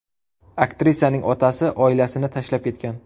Aktrisaning otasi oilasini tashlab ketgan.